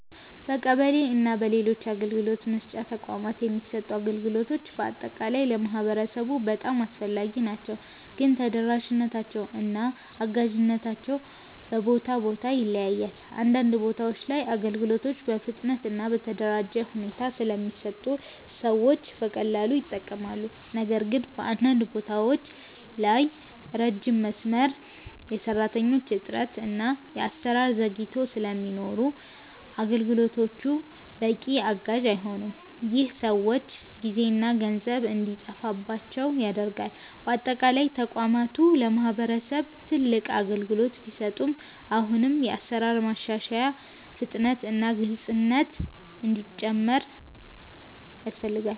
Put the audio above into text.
በቀበሌ እና በሌሎች የአገልግሎት መስጫ ተቋማት የሚሰጡ አገልግሎቶች በአጠቃላይ ለማህበረሰቡ በጣም አስፈላጊ ናቸው፣ ግን ተደራሽነታቸው እና አጋዥነታቸው በቦታ ቦታ ይለያያል። አንዳንድ ቦታዎች ላይ አገልግሎቶች በፍጥነት እና በተደራጀ ሁኔታ ስለሚሰጡ ሰዎች በቀላሉ ይጠቀማሉ። ነገር ግን በአንዳንድ ቦታዎች ላይ ረጅም መስመር፣ የሰራተኞች እጥረት እና የአሰራር ዘግይቶች ስለሚኖሩ አገልግሎቶቹ በቂ አጋዥ አይሆኑም። ይህ ሰዎች ጊዜና ገንዘብ እንዲጠፋባቸው ያደርጋል። በአጠቃላይ ተቋማቱ ለማህበረሰብ ትልቅ አገልግሎት ቢሰጡም አሁንም የአሰራር ማሻሻያ፣ ፍጥነት እና ግልፅነት እንዲጨምር ያስፈልጋል።